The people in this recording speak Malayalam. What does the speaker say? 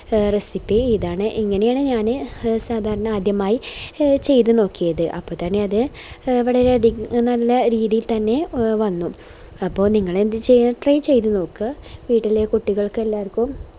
recipe ഇതാണ് ഇങ്ങനെയാണ് ഞാന് സാധരണ ആദ്യമായി ഇ ചെയ്ത നോക്കിയത് അപ്പൊ തന്നെ അത് വളരെ നല്ല രീതി തന്നെ വന്നു അപ്പൊ നിങ്ങളെന്ത് ചെയ്യാ try ചെയ്ത നോക്ക വീട്ടിലെ കുട്ടികൾക്കെല്ലാർക്കും